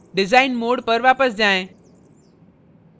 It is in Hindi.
design mode पर वापस जाएँ